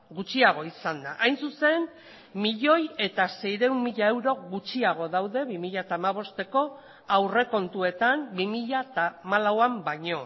gutxiago izan da hain zuzen milioi bat seiehun mila euro gutxiago daude bi mila hamabosteko aurrekontuetan bi mila hamalauan baino